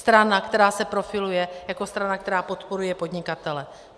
Strana, která se profiluje jako strana, která podporuje podnikatele.